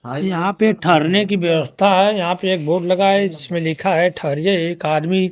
यहां पे ठहररने की व्यवस्था है यहां पे एक बोर्ड लगा है जिसमें लिखा है ठहरिए एक आदमी --